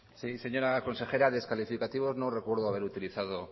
sí señora consejera descalificativos no recuerdo haber utilizado